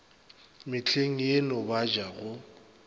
mehleng yeno ba ja go